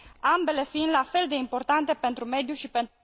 ambele fiind la fel de importante pentru mediu și pentru